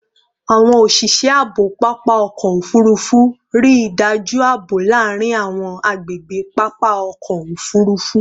Awọn oṣiṣẹ aabo papa ọkọ ofurufu rii daju aabo laarin awọn agbegbe papa ọkọ ofurufu